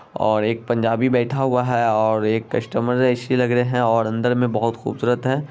और एक पंजाबी बैठा हुआ है और एक कस्टमर जैसी लग रहे हैं और अंदर में बहुत खूबसूरत हैं।